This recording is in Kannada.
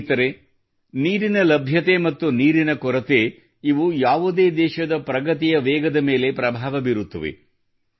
ಸ್ನೇಹಿತರೇ ನೀರಿನ ಲಭ್ಯತೆ ಮತ್ತು ನೀರಿನ ಕೊರತೆ ಇವು ಯಾವುದೇ ದೇಶದ ಪ್ರಗತಿ ಮತ್ತು ವೇಗದ ಮೇಲೆ ಪ್ರಭಾವ ಬೀರುತ್ತವೆ